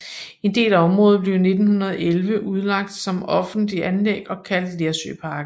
En del af området blev i 1911 udlagt som offentligt anlæg og kaldt Lersøparken